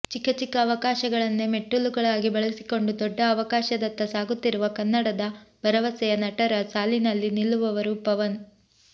ಚಿಕ್ಕ ಚಿಕ್ಕ ಅವಕಾಶಗಳನ್ನೇ ಮೆಟ್ಟಿಲುಗಳಾಗಿ ಬಳಸಿಕೊಂಡು ದೊಡ್ಡ ಅವಕಾಶದತ್ತ ಸಾಗುತ್ತಿರುವ ಕನ್ನಡದ ಭರವಸೆಯ ನಟರ ಸಾಲಿನಲ್ಲಿ ನಿಲ್ಲುವವರು ಪವನ್